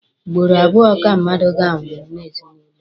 Ugboro abụọ ka mmadụ ga-anwụ n'ezinụlọ a.